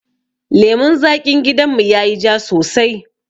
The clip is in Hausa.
Lemun zaƙin gidan mu yayi ja sosai